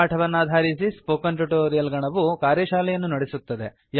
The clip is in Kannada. ಈ ಪಾಠವನ್ನಾಧರಿಸಿ ಸ್ಫೋಕನ್ ಟ್ಯುಟೋರಿಯಲ್ ನ ಗಣವು ಕಾರ್ಯಶಾಲೆಯನ್ನು ನಡೆಸುತ್ತದೆ